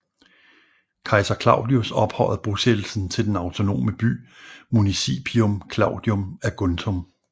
Kejser Claudius ophøjede bosættelsen til den autonome by Municipium Claudium Aguntum